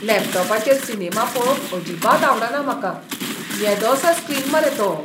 लॅपटॉपाचेर cinema पळोवंक अजिबात आवडना म्हाका. येदोसो स्क्रीन मरे तो.